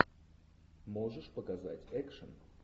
можешь показать экшн